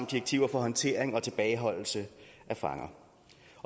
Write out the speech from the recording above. direktiver for håndtering og tilbageholdelse af fanger